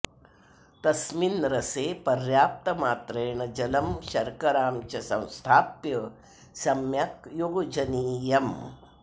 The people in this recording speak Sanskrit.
तस्मिन् रसे पर्याप्तमात्रेण जलं शर्करां च संस्थाप्य सम्यक् योजनीयम्